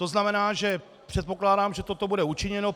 To znamená, že předpokládám, že toto bude učiněno.